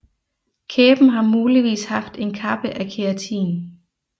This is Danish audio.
Kæben har muligvis haft en kappe af keratin